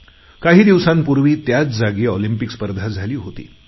काही दिवसांपूर्वी त्याच जागी ऑलिम्पिक स्पर्धा झाली होती